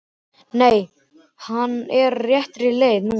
Nei, hann er á réttri leið núna.